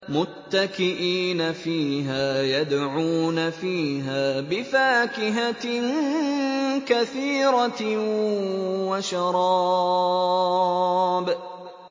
مُتَّكِئِينَ فِيهَا يَدْعُونَ فِيهَا بِفَاكِهَةٍ كَثِيرَةٍ وَشَرَابٍ